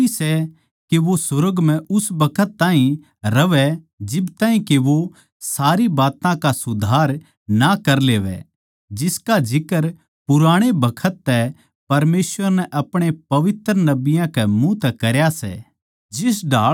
जरूरी सै के वो सुर्ग म्ह उस बखत ताहीं रहवै जिब ताहीं के वो सारी बात्तां का सुधार ना कर लेवै जिसका जिक्रा पुराणे बखत तै परमेसवर नै अपणे पवित्र नबियाँ के मुँह तै करया सै